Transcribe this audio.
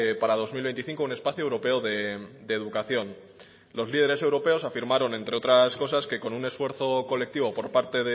para dos mil veinticinco un espacio europeo de educación los líderes afirmaron entre otras que con un esfuerzo colectivo por parte